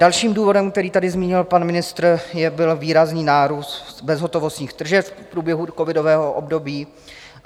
Dalším důvodem, který tady zmínil pan ministr, byl výrazný nárůst bezhotovostních tržeb v průběhu covidového období.